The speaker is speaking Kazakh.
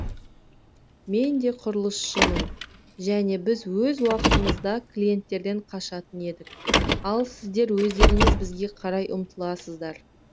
мен де құрылысшымын және біз өз уақытымызда клиенттерден қашатын едік ал сіздер өздеріңіз бізге қарай ұмтыласыздар